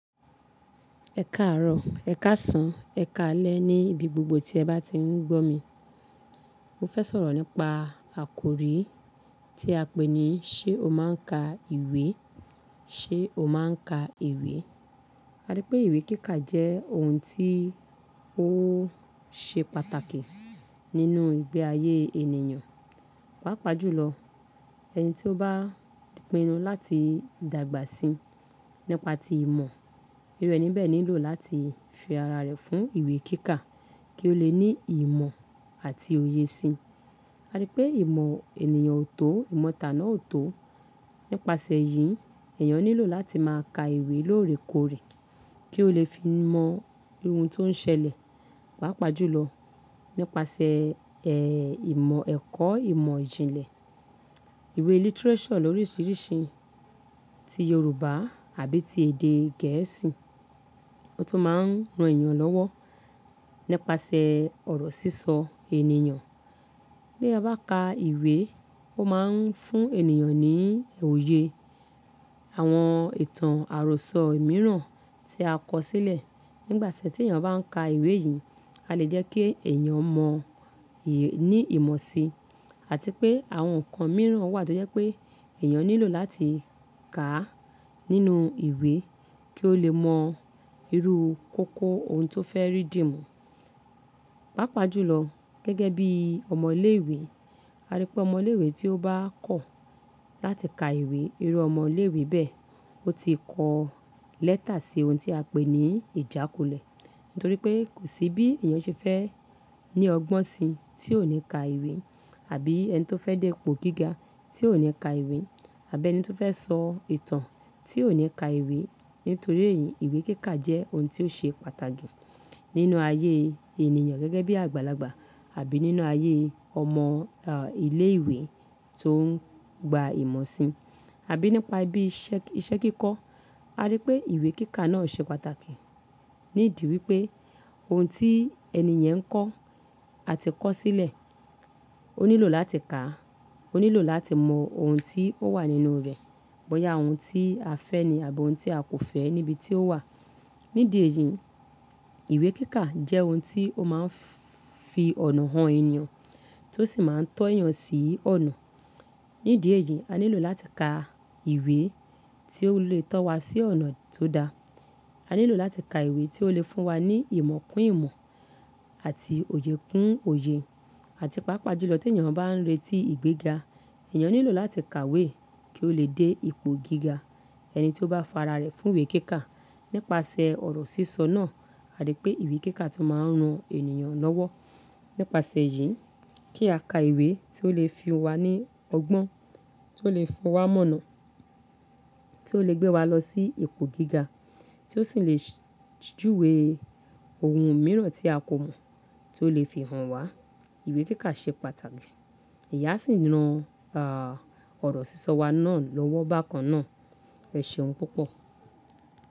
Ẹ káàárọ̀, ẹ̀ káàsán, ẹ̀ káalẹ́ níbi gbogbo tí ẹ bá ti ń gbọ́ mi. Mo fẹ́ sọ̀rọ̀ nípa àkórí tí a pé ní ṣé o máa ń ka ìwé? Ṣé o máa ń ka ìwé? A rí pé ìwé kíkà jẹ́ ohun tí ó ṣe pàtàkì nínú ìgbé ayé ènìyàn. Pàápàá jù lọ, ẹni tí ó bá pinnu láti dàgbà sí nípa ti ìmọ̀, iru ẹni bẹ́ẹ̀ nílò láti fi ara rẹ̀ fún ìwé kíkà kí ó lè ní ìmọ̀ àti òye sí i. A rí pé ìmọ̀ ènìyàn ò tó, ìmọ̀ tà náà ò tó. Nípasẹ̀ yìí, èèyàn nílò láti máa ka ìwé lóore kóore kí ó lè fi mọ ohun tó ń ṣẹlẹ̀. Pápá jùlọ nípasẹ̀ ẹ̀, ìmọ̀ ẹ̀kọ́ ìmọ̀ ìjìnlẹ̀, ìwé literature loríṣiríṣi ti Yorùbá àbí ti èdè gẹ̀ẹ́sì tó máa ń ran èèyàn lọ́wọ́ nípasẹ̀ ọ̀rọ̀ sísọ ènìyàn. Bí a bá ka ìwé, ó máa ń fún ènìyàn ní òye àwọn ìtàn àròsọ mìíràn tí a kọ sílẹ̀. Nígbàtí tí èèyàn bá ń ka ìwé yìí, a lè jẹ́ kí èèyàn mọ ì-- ní ìmọ̀ síi. Àti pé àwọn nǹkan mìíràn wà tí ó jẹ́ pé èèyàn nílò láti kàá nínú ìwé kí ó lè mọ irú kóko ohun tó fẹ́ rí dìmú. Pàápàá jùlọ gẹ́gẹ́ bí ọmọ ilé ìwé, a rí pé ọmọ ilé ìwé tí ó bá kọ̀ láti ka ìwé, irú ọmọ ilé ìwé bẹ́ẹ̀, ó ti kọ lẹ́tà sí ohun tí a pé ní ìjákulẹ̀. Nítorí pé kò sí bí èèyàn ṣe fẹ́ ní ọgbọ́n síi tí ò ní ka ìwé àbí ẹni tí ó fẹ́ dé ipò gíga tí ò ní ka ìwé àbí ẹni tí ó fẹ́ sọ ìtàn tí ò ní ka ìwé. Nítorí èyí, ìwé kíkà jẹ́ ohun tí ó ṣe pàtàkì nínú ayé ènìyàn gẹ́gẹ́ bí àgbàlagbà àbí nínú ayé ọmọ, à, ilé ìwé tó ń gba ìmọ̀ síi àbí nípa bí iṣẹ́ kíkọ. A rí pé ìwé kíkà náà ṣe pàtàkì. Nídìí wípé ohun tí ẹni yẹn ń kọ àti kọ sílẹ̀ ó nílò láti kà á, ó nílò láti mọ ohun tí ó wà nínú rẹ̀. Boya ohun tí a fẹ́ni àbí ohun tí a kò fẹ́ níbi tí ó wà. Nídìí èyí, ìwé kíkà jẹ́ ohun tí ó máa ń fi ọ̀nà han ènìyàn tó sì máa ń tọ́ èèyàn sí ọ̀nà. Nídìí èyí, a nílò láti ka ìwé tí ó lè tọ́ wa sí ọ̀nà tó da. A nílò láti ka ìwé tí ó lè fún wa ní ìmọ̀ kún ìmọ̀ àti òye kún òye. Àti pàápàá jùlọ tí èèyàn bá ń retí ìgbéga, èèyàn nílò láti kàwé kí ó lè dé ipò gíga. Ẹni tí ó bá fara rẹ̀ fún ìwé kíkà nípasẹ̀ ọ̀rọ̀ sísọ náà, a rí pé ìwé kíkà tó máa ń ran ènìyàn lọ́wọ́. Nípasẹ̀ yìí, kí a ka ìwé tí ó lè fi wa ní ọgbọ́n, tí ó lè fi wa mọ́na, tí ó lè gbé wa lọ sí ipò gíga tí ó sì lè júwe ohun mìíràn tí a kò mọ̀ tí ó lè fi hàn wá. Ìwé kíkà ṣe pàtàkì. Èyí á sì ran ọ̀rọ̀ sísọ wa náà lọ́wọ́ bákan náà. Ẹ ṣeun púpọ̀.